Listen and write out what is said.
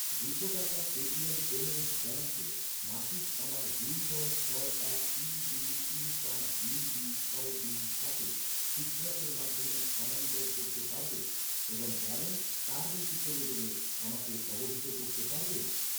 দুশো টাকা Paytm payments ব্যাঙ্কে মাসিক আমার দুই নয় ছয় এক তিন দুই তিন পাঁচ দুই দুই ছয় দুই সাতে সিট্রাসের মাধ্যমে স্থানান্তর করতে পারবে, এবং ব্যালেন্স তার নিচে চলে গেলে আমাকে অবহিত করতে পারবে?